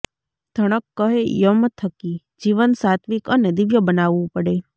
ઘણક્ કહે યમ થકી જીવન સાત્ત્વિક અને દિવ્ય બનાવવું પડે